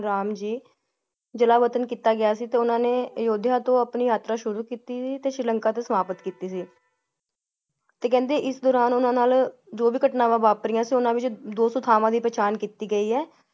ਰਾਮ ਜੀ ਜਲਾਵਤਨ ਕਿੱਤਾ ਗਯਾ ਸੀ ਤੇ ਉੰਨਾ ਨੇ ਅਯੁੱਧਿਆ ਤੋਂ ਆਪਣੀ ਯਾਤਰਾ ਸ਼ੁਰੂ ਕਿੱਤੀ ਤੇ ਸ਼੍ਰੀ ਲੰਕਾ ਤੇ ਸਮਾਪਤ ਕਿੱਤੀ ਸੀ ਤੇ ਕਹਿੰਦੇ ਇਸ ਦੌਰਾਨ ਊਨਾ ਨਾਲ ਘਟਨਾਵਾਂ ਵਾਪਰਿਆ ਸੀ ਉੰਨਾ ਵਿਚ ਦੋ ਸਥਾਵਾਂ ਦਿ ਪਹਿਚਾਣ ਕਿੱਤੀ ਗਈ ਹੈ ।